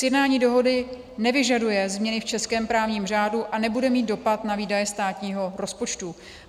Sjednání dohody nevyžaduje změny v českém právním řádu a nebude mít dopad na výdaje státního rozpočtu.